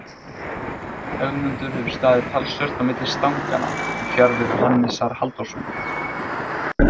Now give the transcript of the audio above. Ögmundur hefur staðið talsvert á milli stanganna í fjarveru Hannesar Halldórssonar.